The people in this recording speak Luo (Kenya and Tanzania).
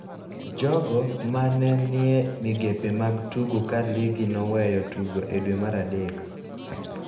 jogo ma ne ni e migepe mag tugo ka ligi noweyo tugo e dwe mar adek,